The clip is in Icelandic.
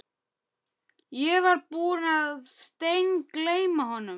Ég var búinn að steingleyma honum